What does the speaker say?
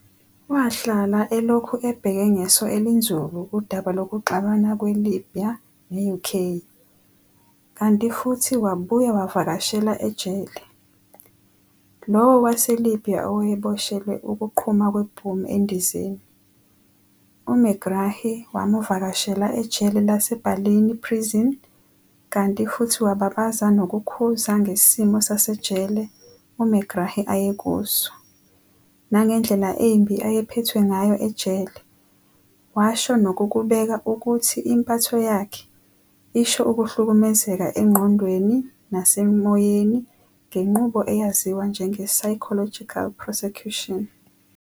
Wahlala elokhu ebheke ngeso elinzulu udaba lokuxabana kwe-Libya ne-UK, kanti futhi wabuya wavakashela ejele, lowo waseLibya owayeboshelwe ukuqhuma kwebhomu endizeni, u-Megrahi wamuvakashela ejele lase-Barlinnie prison kanti futhi wababaza nokukhuza ngesimo sasejele u-Megrahi ayekuso, nangendlela embi ayephethwe ngayo ejele, washo nokukubeka ukuthi impatho yakhe isho ukuhlumhlukumeza engqondweni nasemoyeni ngenqubo eyaziwa njenge-"psychological persecution".